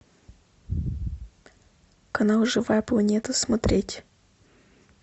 канал живая планета смотреть